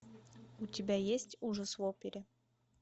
у тебя есть ужас в опере